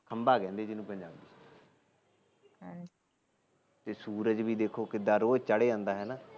ਖੰਭਾ ਕਹਿੰਦੇ ਬੇ ਸੁਰਜ ਬੀ ਦੇਖੋ ਕਿਦਾ ਰੋਜ ਚੜ ਜਾਂਦਾ